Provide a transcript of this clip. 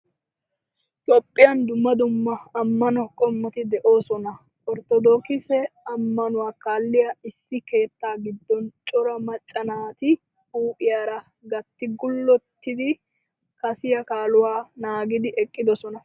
Toophphiyan dumma dumma amano qommoti de"osona. Ortodookisee amanuwa kalliyaa Issi keetta giidon cora macca naati huuphphiyara gaatti guullotidi kaasiya kaaluwa naagidi eqqidosona.